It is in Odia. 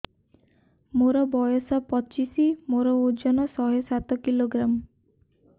ମୋର ବୟସ ପଚିଶି ମୋର ଓଜନ ଶହେ ସାତ କିଲୋଗ୍ରାମ